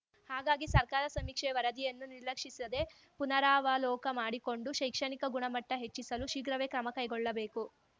ಹಾಗಾಗಿ ಸರ್ಕಾರ ಸಮೀಕ್ಷೆಯ ವರದಿಯನ್ನು ಸಿರ್ಲಕ್ಷಿಸದೇ ಪುನರಾವಲೋಕ ಮಾಡಿಕೊಂಡು ಶೈಕ್ಷಣಿಕ ಗುಣಮಟ್ಟಹೆಚ್ಚಿಸಲು ಶೀಘ್ರವೇ ಕ್ರಮ ಕೈಗೊಳ್ಳಬೇಕು